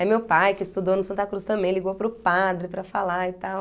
meu pai que estudou no Santa Cruz também, ligou para o padre para falar e tal.